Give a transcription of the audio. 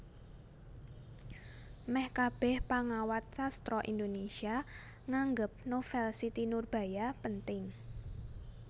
Meh kabeh pangawat sastra Indonesia nganggep novel Siti Nurbaya penting